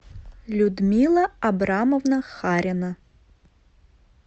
людмила абрамовна харина